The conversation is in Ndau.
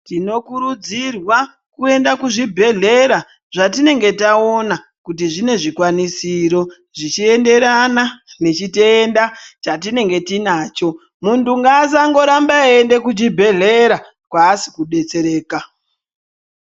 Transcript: Tinokurudzirwa kuenda kuzvibhedhlera zvatinenge taona kuti zvine zvikwanisiro zvichienderana nechitenda chatinenge tinacho. Muntu ngasangoramba eienda kuchibhedhlera kwasikudetsereka.